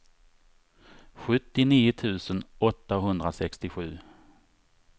sjuttionio tusen åttahundrasextiosju